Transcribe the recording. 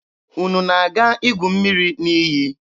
Unu na-aga igu mmiri n'iyi?